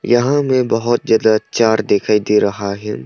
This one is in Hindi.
यहां में बहुत ज्यादा चार दिखाई दे रहा है।